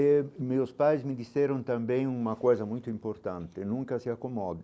E meus pais me disseram também uma coisa muito importante, nunca se acomode.